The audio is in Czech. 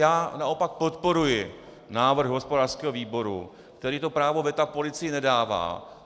Já naopak podporuji návrh hospodářského výboru, který to právo veta policii nedává.